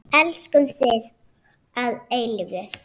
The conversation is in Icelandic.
Elskum þig að eilífu.